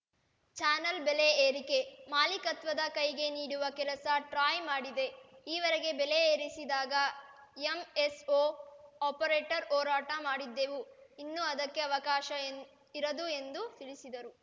channel ಬೆಲೆ ಏರಿಕೆ ಮಾಲೀಕತ್ವದ ಕೈಗೆ ನೀಡುವ ಕೆಲಸ ಟ್ರಾಯ್‌ ಮಾಡಿದೆ ಈವರೆಗೆ ಬೆಲೆ ಏರಿಸಿದಾಗ ಎಂಎಸ್‌ಓ ಆಪರೇಟರ್‌ ಹೋರಾಟ ಮಾಡಿದ್ದೆವು ಇನ್ನು ಅದಕ್ಕೆ ಅವಕಾಶ ಎನ್ ಇರದು ಎಂದು ತಿಳಿಸಿದರು